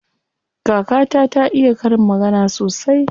Kakata ta iya karin magana sosai.